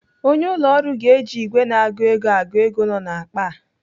Onye ụlọ ọrụ ga-eji ìgwè na-agụ ego agụ ego nọ n'akpa a.